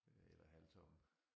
Øh eller halvtomme